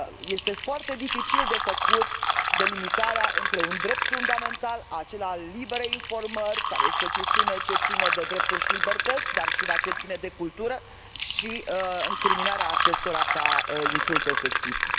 Este foarte dificil de făcut delimitarea între un drept fundamental, acela al liberei informări, care este o chestiune ce ține de drepturi și libertăți, dar și una ce ține de cultură, și incriminarea acestora ca insulte sexiste.